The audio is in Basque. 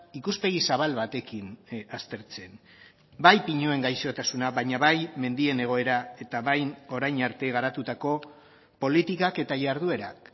ikuspegi zabal batekin aztertzen bai pinuen gaixotasuna baina bai mendien egoera eta bai orain arte garatutako politikak eta jarduerak